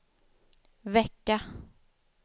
vecka